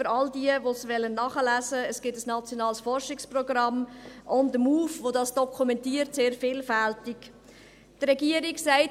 Für alle, die es nachlesen wollen: Es gibt ein nationales Forschungsprogramm «On the Move», welches das sehr vielfältig dokumentiert.